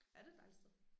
Ja det et dejligt sted